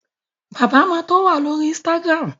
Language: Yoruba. Bàbá ma tó wà lórí Instagram